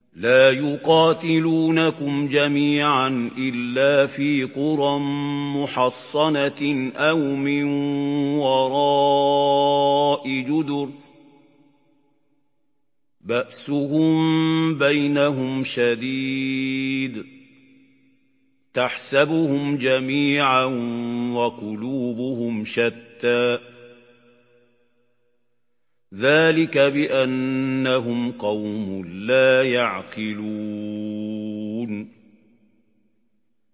لَا يُقَاتِلُونَكُمْ جَمِيعًا إِلَّا فِي قُرًى مُّحَصَّنَةٍ أَوْ مِن وَرَاءِ جُدُرٍ ۚ بَأْسُهُم بَيْنَهُمْ شَدِيدٌ ۚ تَحْسَبُهُمْ جَمِيعًا وَقُلُوبُهُمْ شَتَّىٰ ۚ ذَٰلِكَ بِأَنَّهُمْ قَوْمٌ لَّا يَعْقِلُونَ